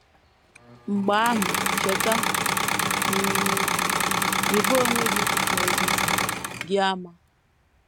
Mgbe ahụ, cheta: “ um Rịba onwe gị na ozizi gị ama.